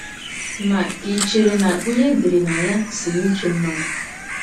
n? Ka ì chere na ihe e dere na ya si n’uche mmadụ?